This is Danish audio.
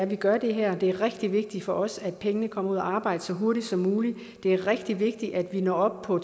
vi gør det her det er rigtig vigtigt for os at pengene kommer ud at arbejde så hurtigt som muligt det er rigtig vigtigt at vi når op på